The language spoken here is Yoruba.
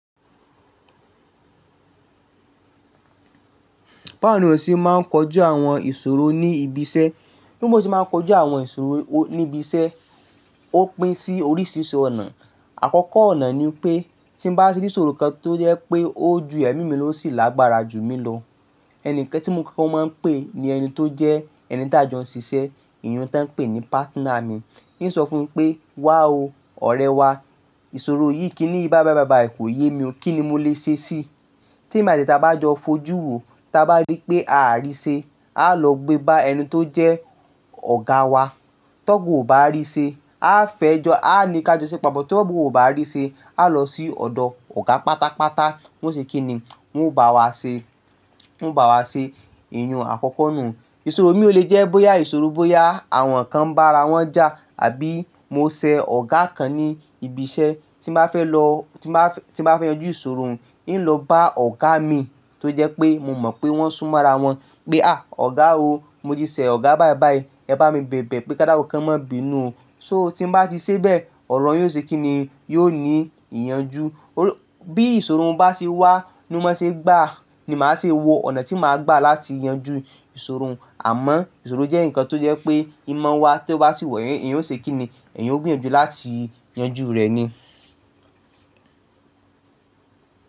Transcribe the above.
Báwo ni o ṣe máa ń kojú àwọn ìṣòro ní ibi iṣẹ́? Bí mo ṣe máa ń kojú àwọn ìṣòro ní ibi iṣẹ́ ó pín sí oríṣiríṣi ọ̀nà. Àkọ́kọ́ ọ̀nà ni pé tí bá ti rí ìṣòro kan tó jẹ́ pé ó ju ẹ̀mí mi ló ó sì lágbára ju mí lọ, ẹni kan tí mo kókọ́ máa ń pè ní ẹni tó jẹ́ ẹni ta jọ ń ṣiṣẹ́, iyùn tó ń pè ní partner mi. Yíì sọ fún pé, "Wá o ọ̀rẹ́ wá, ìṣòro yìí kí ni í báyi báyì bayì kò yé mi o, kí ni mo lè ṣe sí i?" Tèmi àti e ta bá jọ fojú wo, ta bá rí pé à rí ṣe, a lọ gbé bá ẹni tó jẹ́ ọ̀gá wa. Tọ́ga ò bá rí ṣe, a fẹ́ jọ a ni kí á jọ ṣẹ̀ pàpọ̀, tọ́ga ò bá rí ṣe a lọ sí ọ̀dọ̀ ọ̀gá pátápátá, wọ́n ṣe kí ni? Wọn bá wa ṣe, wọ́n bá wa ṣe iyùn àkọ́kọ́ nù. Ìṣòro mi o lè jẹ́ bóyá ìṣòro bóyá àwọn kan bá ara wọn jà àbí mo ṣẹ̀ ọ̀gá kan ní ibi iṣẹ́ tí mo bá fẹ́ lọ, tí m bá fẹ́ yanjú ìṣòro mi, yíì lọ bá ọ̀gá mìí tó jẹ́ pé mo mọ̀ pé wọ́n sún mọ́ ara wọn pé, "À ọ̀gá o, mo ti ṣẹ̀ ọ̀gá báyi báyìí, ẹ bá mi bẹ̀bẹ̀ pé kò dá kún kò má bí inú o." So tí bá ti ṣe bẹ́ẹ̀, ọ̀rọ̀ yóò ṣe kí ni? Yóò ní ìyànjú. Bí ìṣòro ń bá ṣe wá ni ó máa ṣe gbà á ni màá ṣe wo ọ̀nà tí màá gbà láti yanjú ìṣòro àmọ́ ìṣòro jẹ́ nǹkan tó jẹ́ pé ìmọ̀ wa tí ó bá sì wà èèyàn ó ṣe kí ni? Èèyàn ó gbìyànjú láti yanjú rẹ̀ ni.